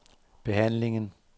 behandlingen